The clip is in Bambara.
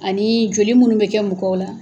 Ani joli munnu bɛ kɛ mɔgɔw la